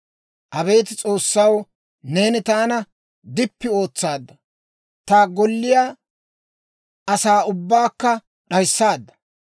Abeet S'oossaw, neeni taana dippi ootsaadda; ta golliyaa asaa ubbaakka d'ayissaadda.